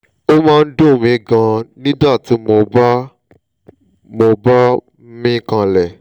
ó máa ń dùn mí gan-an nígbà tí mo bá mo bá ń mí kanlẹ̀